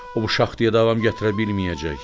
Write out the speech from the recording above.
O bu şaxtaya davam gətirə bilməyəcək.